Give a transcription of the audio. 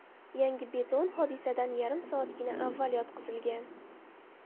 Yangi beton hodisadan yarim soatgina avval yotqizilgan.